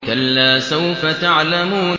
كَلَّا سَوْفَ تَعْلَمُونَ